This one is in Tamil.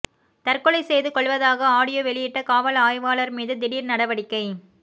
தற்கொலை செய்து கொள்வதாக ஆடியோ வெளியிட்ட காவல் ஆய்வாளர் மீது திடீர் நடவடிக்கை